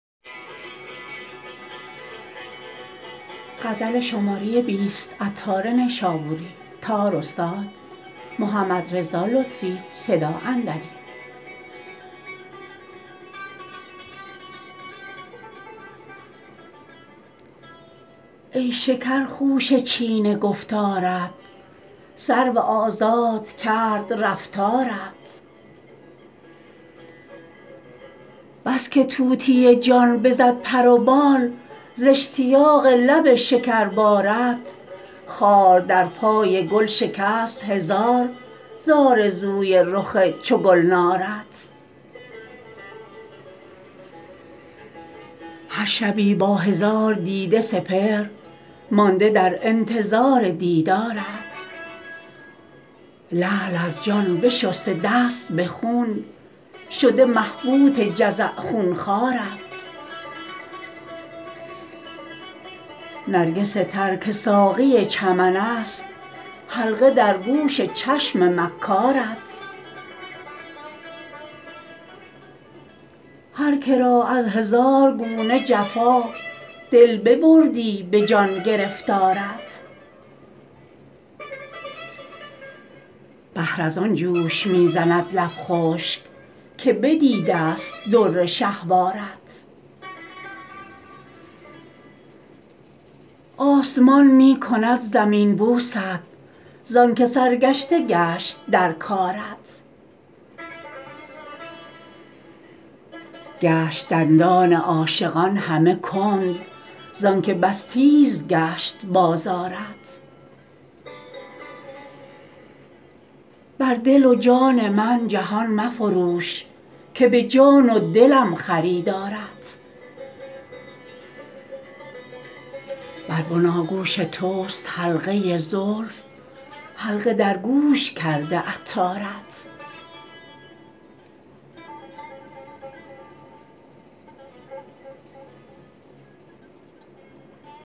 ای شکر خوشه چین گفتارت سرو آزاد کرد رفتارت بس که طوطی جان بزد پر و بال ز اشتیاق لب شکر بارت خار در پای گل شکست هزار ز آرزوی رخ چو گلنارت هر شبی با هزار دیده سپهر مانده در انتظار دیدارت لعل از جان بشسته دست به خون شده مبهوت جزع خون خوارت نرگس تر که ساقی چمن است حلقه در گوش چشم مکارت هرکه را از هزار گونه جفا دل ببردی به جان گرفتارت بحر از آن جوش می زند لب خشک که بدیدست در شهوارت آسمان می کند زمین بوست زانکه سرگشته گشت در کارت گشت دندان عاشقان همه کند زانکه بس تیز گشت بازارت بر دل و جان من جهان مفروش که به جان و دلم خریدارت بر بناگوش توست حلقه زلف حلقه در گوش کرده عطارت